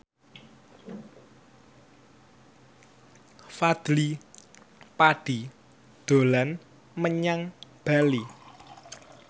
Fadly Padi dolan menyang Bali